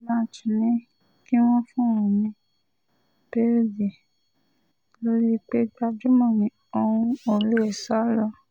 dbanji ní kí wọ́n fún òun ní béèlì lórí pé gbajúmọ̀ ni òun ò lè sá lọ